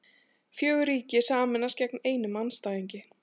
Fjögur ríki sameinast gegn einum andstæðingi